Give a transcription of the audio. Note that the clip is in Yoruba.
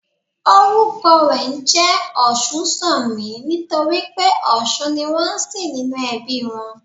Orúkọ rè njé Òsúnsanmí nítorí pé òsun ni wón nsìn nínú ẹbí i rè